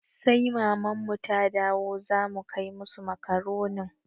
Sai maman mu ta dawo za mu kai musu makaronin